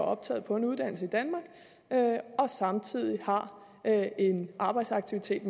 optaget på en uddannelse i danmark og samtidig har en arbejdsaktivitet